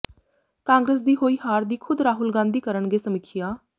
ਕਾਂਗਰਸ ਦੀ ਹੋਈ ਹਾਰ ਦੀ ਖੁਦ ਰਾਹੁਲ ਗਾਂਧੀ ਕਰਨਗੇ ਸਮੀਖਿਆ